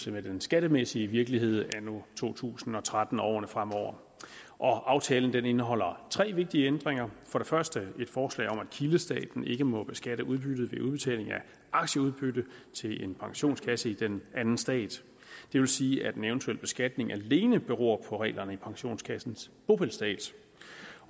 med den skattemæssige virkelighed anno to tusind og tretten og årene fremover aftalen indeholder tre vigtige ændringer for det første et forslag om at kildestaten ikke må beskatte udbytte ved udbetaling af aktieudbytte til en pensionskasse i den anden stat det vil sige at en eventuel beskatning alene beror på reglerne i pensionskassens bopælsstat